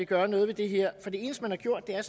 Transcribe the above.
gøre noget ved det her for det eneste man har gjort er